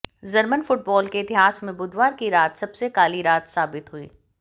German football के इतिहास में बुधवार की रात सबसे काली रात साबित हुई